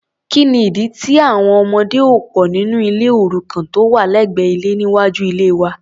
kíni ìdí tí àwọn ọmọdé ò pò nínú ilé òrukàn tó wà lẹ́gbẹ́ ilé níwájú ilée wa?